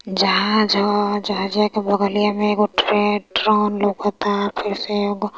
जहाँज ह जहाँजिया के बगलिया में एको ट्रे ट्रॉन लोकत ता